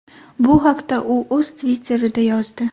Bu haqda u o‘z Twitter’ida yozdi.